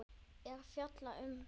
er fjallað um púður.